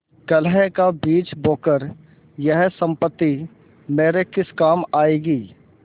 कलह का बीज बोकर यह सम्पत्ति मेरे किस काम आयेगी